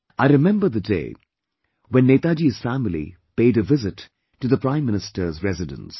I remember the day when Netaji's family paid a visit to the Prime Minister's residence